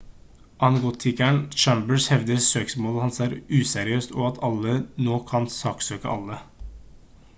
agnostikeren chambers hevder søksmålet hans er useriøst og «at alle nå kan saksøke alle»